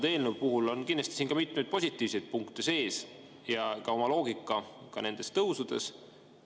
Ka selles eelnõus on kindlasti mitmeid positiivseid punkte ja oma loogika on ka nendes tõusudes.